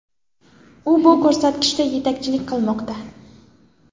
U bu ko‘rsatkichda yetakchilik qilmoqda.